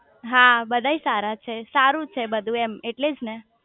હા બધાય સારા છે સારું છે બધું એમ એટલેજ ને